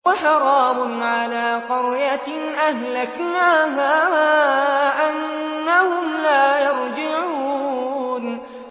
وَحَرَامٌ عَلَىٰ قَرْيَةٍ أَهْلَكْنَاهَا أَنَّهُمْ لَا يَرْجِعُونَ